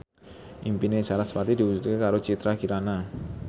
impine sarasvati diwujudke karo Citra Kirana